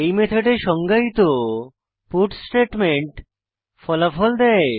এই মেথডে সংজ্ঞায়িত পাটস স্টেটমেন্ট ফলাফল দেয়